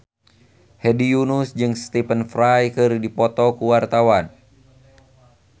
Hedi Yunus jeung Stephen Fry keur dipoto ku wartawan